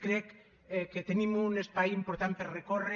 crec que tenim un espai important per recórrer